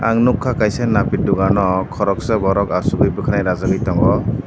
ang nukha kaisa napi dukano khoroksa borok achukgwi bwkhwnai rajakgwi tongo.